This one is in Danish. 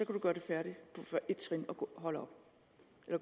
kan gøre det færdigt og gå